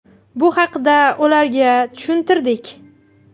Bu haqda ularga tushuntirdik.